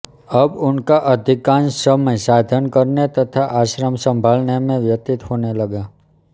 अब उनका अधिकांश समय साधन करने तथा आश्रम सँभालने में व्यतीत होने लगा